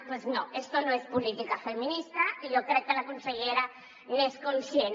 doncs no això no és política feminista i jo crec que la consellera n’és conscient